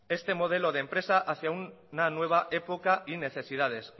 este modelo de empresa hacia una nueva época de necesidades